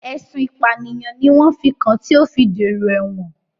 Ẹ̀sùn ìpànìyàn ni wọ́n fi kàn án tí ó fi dèrò ẹ̀wọ̀n